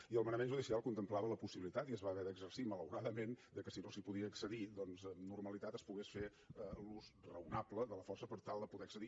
i el manament judicial contemplava la possibilitat i es va haver d’exercir malauradament que si no s’hi podia accedir doncs amb normalitat es pogués fer l’ús raonable de la força per tal de poder hi accedir